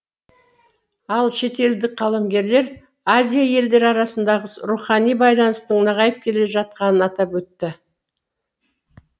ал шетелдік қаламгерлер азия елдері арасындағы рухани байланыстың нығайып келе жатқанын атап өтті